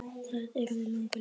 Það yrði langur listi.